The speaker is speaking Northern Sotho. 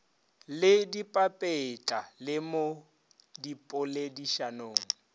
le dipapetla le mo dipoledišanong